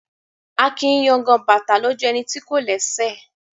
A kìí yangan bàtà lójú ẹni tí kò lẹ́sẹ̀.